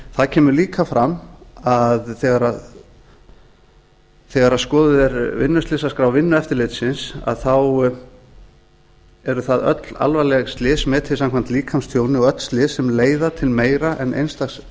það kemur líka fram þegar skoðuð er vinnuslysaskrá vinnueftirlitsins að þá eru það öll alvarleg slys metin samkvæmt líkamstjóni og öll slys sem leiða til meira en eins dags